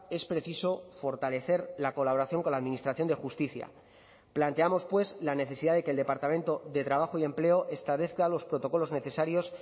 es preciso fortalecer la colaboración con la administración de justicia planteamos pues la necesidad de que el departamento de trabajo y empleo establezca los protocolos necesarios